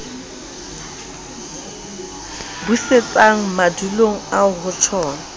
busetswang madulong eo ho tjhona